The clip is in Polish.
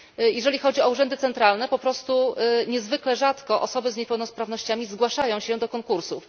Jeżeli chodzi o urzędy centralne, niezwykle rzadko osoby z niepełnosprawnościami zgłaszają się do konkursów.